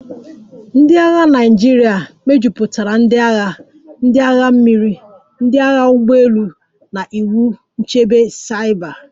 cNdị agha Naịjirịa mejupụtara ndị agha, ndị agha mmiri, ndị agha ụgbọ elu na iwu nchebe saiba